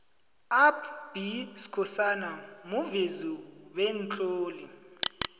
up b skhosana muvezi bemtloli